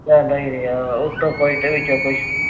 ਆਉਂਦਾ ਹੀ ਰਿਹਾ। ਉੱਤੋਂ ਕੁੱਝ ਤੇ ਵਿੱਚੋਂ ਕੁੱਝ